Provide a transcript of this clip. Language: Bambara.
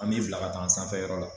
An b'i bila ka taa an sanfɛyɔrɔ la.